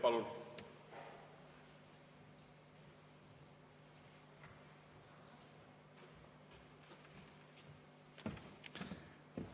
Palun!